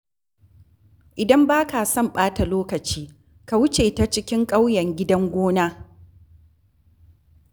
Idan ba ka son ɓata lokaci, ka wuce ta cikin kauyen Gidan Gona.